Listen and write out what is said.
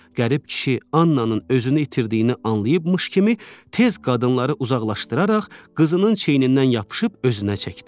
Qərib kişi Annanın özünü itirdiyini anlayıbmış kimi tez qadınları uzaqlaşdıraraq qızının çiynindən yapışıb özünə çəkdi.